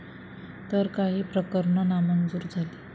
तर काही प्रकरणं नामंजूर झाली.